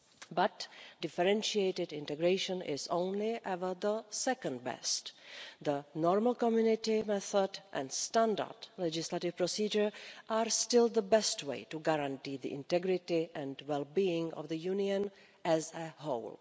But differentiated integration is only ever the second best. The normal Community method and standard legislative procedure are still the best way to guarantee the integrity and wellbeing of the Union as a whole.